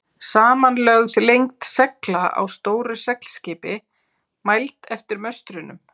Samanlögð lengd segla á stóru seglskipi, mæld eftir möstrunum.